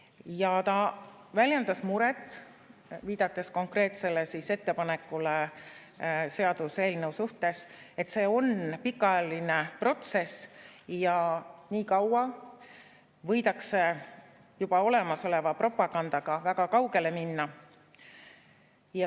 Ja ta väljendas muret, viidates konkreetsele ettepanekule seaduseelnõu kohta, et see on pikaajaline protsess ja nii kaua võidakse juba olemasoleva propagandaga väga kaugele minna.